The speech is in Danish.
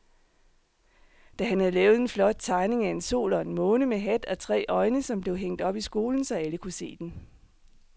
Dan havde lavet en flot tegning af en sol og en måne med hat og tre øjne, som blev hængt op i skolen, så alle kunne se den.